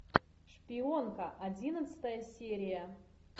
шпионка одиннадцатая серия